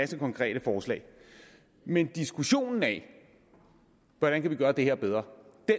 konkrete forslag men diskussionen af hvordan vi kan gøre det her bedre